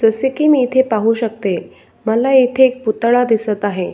जसे की मी इथे पाहू शकते मला इथे एक पुतळा दिसत आहे.